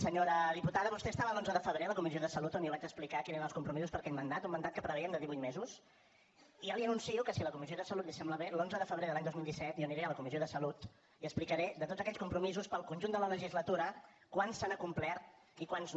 senyora diputada vostè estava l’onze de febrer a la comissió de salut on jo vaig explicar quins eren els compromisos per a aquest mandat un mandat que preveiem de divuit mesos ja li anuncio que si a la comissió de salut li sembla bé l’onze de febrer de l’any dos mil disset jo aniré a la comissió de salut i explicaré de tots aquells compromisos per al conjunt de la legislatura quants s’han acomplert i quants no